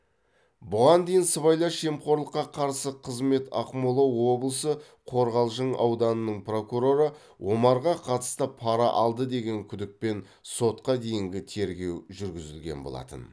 бұған дейін сыбайлас жемқорлыққа қарсы қызмет ақмола облысы қорғалжың ауданының прокуроры омарға қатысты пара алды деген күдікпен сотқа дейінгі тергеу жүргізілген болатын